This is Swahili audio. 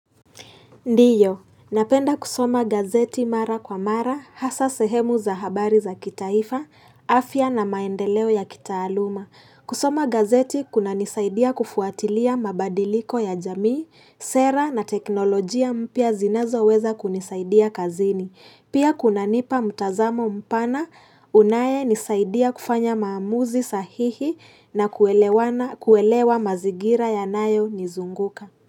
Ndiyo, napenda kusoma gazeti mara kwa mara, hasa sehemu za habari za kitaifa, afya na maendeleo ya kitaaluma. Kusoma gazeti kunanisaidia kufuatilia mabadiliko ya jamii, sera na teknolojia mpya zinazoweza kunisaidia kazini. Pia kunanipa mtazamo mpana, unaenisaidia kufanya maamuzi sahihi na kuelewana kuelewa mazingira yanayonizunguka.